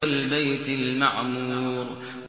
وَالْبَيْتِ الْمَعْمُورِ